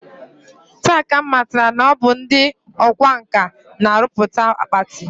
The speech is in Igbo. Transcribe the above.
Taa ka m matara na ọ bụ ndị ọkwa nkà na-arụpụta akpati